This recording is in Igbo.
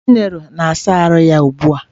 Chinelo na-asa ahụ ya ugbu a.